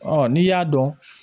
n'i y'a dɔn